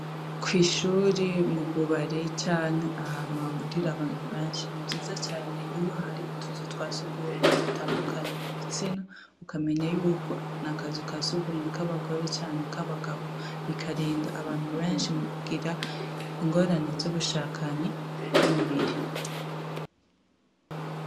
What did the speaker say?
Ko'ishuri mububari canke ahantu hahurira abantu benshi nivyiza cane iyo hari utuzu twa sugumwe dutandukanya ibitsina ukamenya yuko ni akazu ka sugumwe k'abagore canke k'abagabo bikarinda abantu benshi mu kugira ingorane z'ubushakanyi bw'imibiri a.